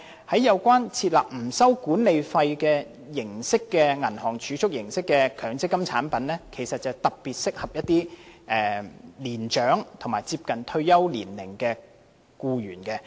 此外，設立不收取管理費的銀行儲蓄形式強積金產品其實特別適合一些年長和接近退休年齡的僱員。